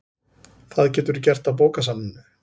Það geturðu gert á bókasafninu